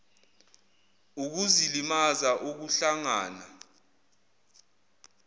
ukuzilimaza ukuh langana